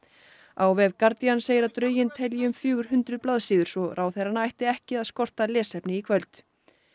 á vef Guardian segir að drögin telji um fjögur hundruð blaðsíður svo ráðherrana ætti ekki að skorta lesefni í kvöld